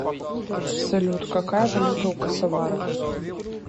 салют какая валюта у косоваров